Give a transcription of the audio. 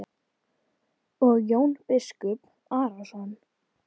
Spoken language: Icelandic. Og Jón biskup Arason.